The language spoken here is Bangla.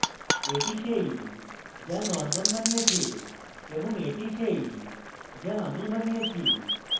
এটি সেই যা norman বানিয়েছে এবং এটি সেটি যা আমি বানিয়েছি